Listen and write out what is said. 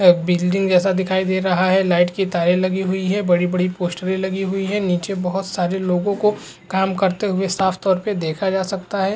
एक बिजली जैसा दिखाई दे रहा है। लाइट की तारे लगी हुई हैं। बड़ी-बड़ी पोस्टरे लगी हुई हैं। नीचे बहोत सारे लोगो को काम करते हुए साफ़ तौर पे देखा जा सकता है।